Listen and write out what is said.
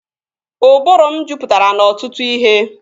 Ụbụrụ m jupụtara n'ọtụtụ ihe